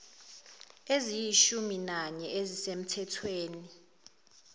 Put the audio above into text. eziyishumi nanye ezisemthethweni